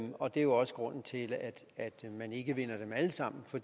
og det er også grunden til at man ikke vinder dem alle sammen for